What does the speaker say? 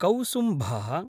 कौसुम्भः